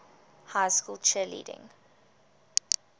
high school cheerleading